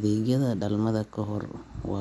kasta ay booqato ugu.